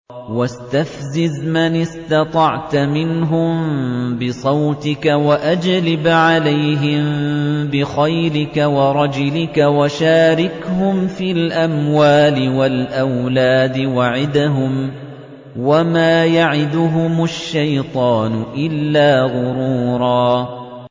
وَاسْتَفْزِزْ مَنِ اسْتَطَعْتَ مِنْهُم بِصَوْتِكَ وَأَجْلِبْ عَلَيْهِم بِخَيْلِكَ وَرَجِلِكَ وَشَارِكْهُمْ فِي الْأَمْوَالِ وَالْأَوْلَادِ وَعِدْهُمْ ۚ وَمَا يَعِدُهُمُ الشَّيْطَانُ إِلَّا غُرُورًا